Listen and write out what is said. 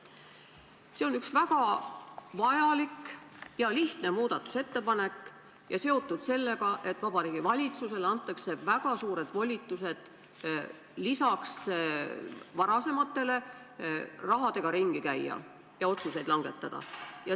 See on üks väga vajalik ja lihtne muudatusettepanek ning seotud sellega, et Vabariigi Valitsusele antakse väga suured volitused – lisaks varasematele – rahaga ringi käia ja otsuseid langetada.